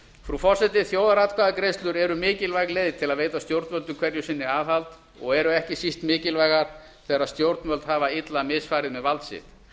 frú forseti þjóðaratkvæðagreiðslur eru mikilvæg leið til að veita stjórnvöldum hverju sinni aðhald og eru ekki síst mikilvægar þegar stjórnvöld hafa illa misfarið með vald sitt